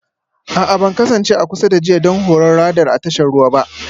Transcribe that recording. A'a ban kasance a kusa da jiya don Horon Radar a tashar ruwa ba